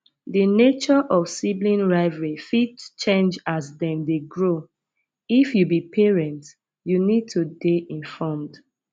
di nature of sibling rivalry fit change as dem dey grow if you be parent you need to dey informed